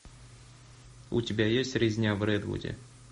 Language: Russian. у тебя есть резня в редвуде